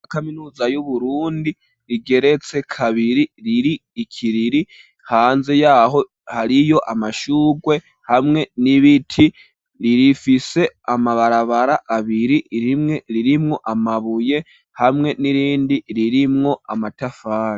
Kaminuza yu Burundi rigeretse kabiri iri ikiriri hanze yaho hariyo amashurwe hamwe n'ibiti ririfise amabarabara abiri rimwe ririmwo amabuye hamwe n'irindi ririmwo amatafari.